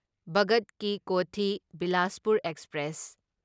Bhagat Ki Kothi Bilaspur express